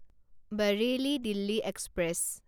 Bareilly Delhi express